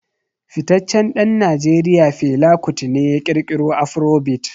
Fitaccen dan Najeriya Fela Kuti ne ya kirkiro Afrobeat.